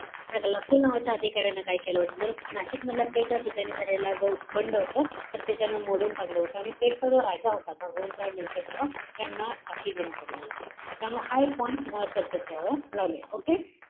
या ग्लासपूल नावाच्या अधिकाऱ्यानं काय केलं होतं? तर, नाशिक मधल्या पेठ या ठिकाणी झालेला जो बंड होता. तर ते त्यानं मोडून काढलं होतं. आणि पेठचा जो राजा होता. भगवंतराव निळकंठराव यांना फाशी देण्यात आलेली होती. त्यामुळं हा एक point तुम्हाला लक्षात ठेवावा लागेल.